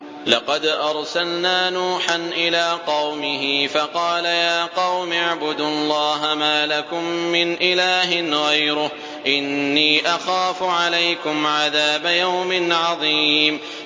لَقَدْ أَرْسَلْنَا نُوحًا إِلَىٰ قَوْمِهِ فَقَالَ يَا قَوْمِ اعْبُدُوا اللَّهَ مَا لَكُم مِّنْ إِلَٰهٍ غَيْرُهُ إِنِّي أَخَافُ عَلَيْكُمْ عَذَابَ يَوْمٍ عَظِيمٍ